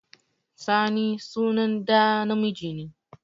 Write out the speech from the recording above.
Sani sunan ɗa namiji ne